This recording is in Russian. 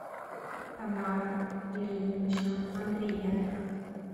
тамара ильинична андриенко